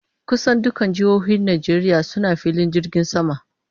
Kusan dukkan jihohin Najeriya suna filin jirgin sama.